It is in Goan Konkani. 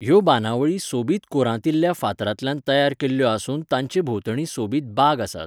ह्यो बांदावळी सोबीत कोरांतिल्ल्या फातरांतल्यान तयार केल्ल्यो आसून तांचे भोंवतणी सोबीत बाग आसात.